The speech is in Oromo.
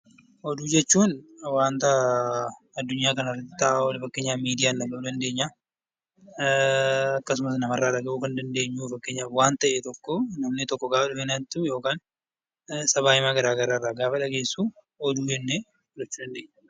Oduu jechuun waanta adunyaa kana irratti ta'aa oolu fakkeenyaaf miidiyaan dhagahaa oollu, akkasumas nama irraa dhagahuu kan dandeenyu fakkeenyaaf waan ta'e tokko yookaan mudannoo garaagaraa yeroo dhageessu, Oduu jechuu dandeenya.